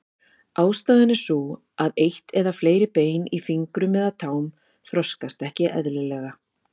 Ástæðan er sú að eitt eða fleiri bein í fingrum eða tám þroskast ekki eðlilega.